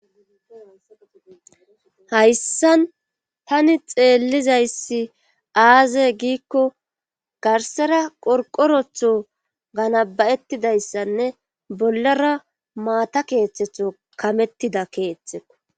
hayssan tani xeellizayssi aaze giikko garsera qorqorotho ganabayettidayssanne bollara maata keeththetho kamettida keeththeko